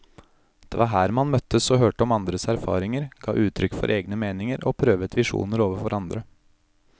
Det var her man møttes og hørte om andres erfaringer, ga uttrykk for egne meninger og prøvet visjoner overfor andre.